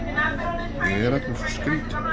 Ég er allur svo skrýtinn.